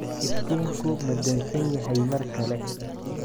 Iftiinku ma dansan yahay mar kale?